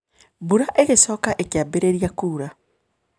Mbura ĩgĩcoka ĩkĩambĩrĩria kuura.